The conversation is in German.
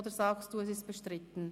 Oder sagen Sie, es sei bestritten?